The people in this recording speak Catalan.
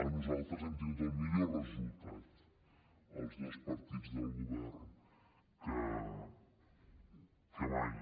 nosaltres hem tingut el millor resultat els dos partits del govern que mai